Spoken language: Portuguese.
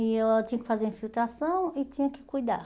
E eu tinha que fazer infiltração e tinha que cuidar.